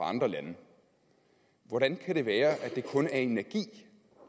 andre lande hvordan kan det være at det kun er energi